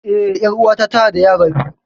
Eh, ƴar'uwata tanada yara biyu.